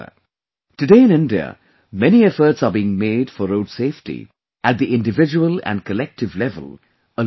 Today, in India, many efforts are being made for road safety at the individual and collective level along with the Government